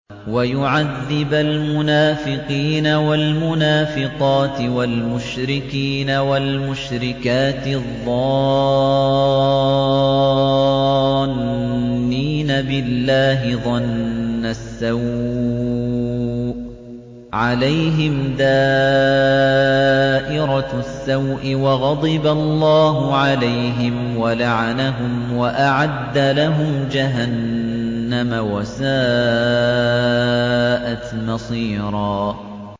وَيُعَذِّبَ الْمُنَافِقِينَ وَالْمُنَافِقَاتِ وَالْمُشْرِكِينَ وَالْمُشْرِكَاتِ الظَّانِّينَ بِاللَّهِ ظَنَّ السَّوْءِ ۚ عَلَيْهِمْ دَائِرَةُ السَّوْءِ ۖ وَغَضِبَ اللَّهُ عَلَيْهِمْ وَلَعَنَهُمْ وَأَعَدَّ لَهُمْ جَهَنَّمَ ۖ وَسَاءَتْ مَصِيرًا